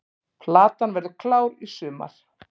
Platan verður klár í sumar